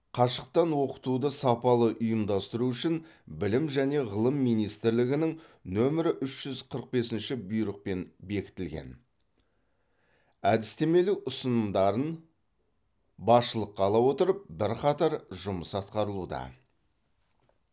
қашықтан оқытуды сапалы ұйымдастыру үшін білім және ғылым министрлігінің нөмірі үш жүз қырық бесінші бұйрықпен бекітілген әдістемелік ұсынымдарын басшылыққа ала отырып бірқатар жұмыс атқарылуда